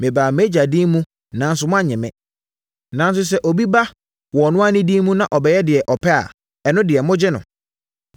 Mebaa mʼAgya din mu nanso moannye me. Nanso, sɛ obi ba wɔ ɔno ara ne din mu na ɔbɛyɛ deɛ ɔpɛ a, ɛno deɛ, mogye no.